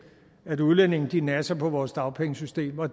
at udlændinge nasser på vores dagpengesystem og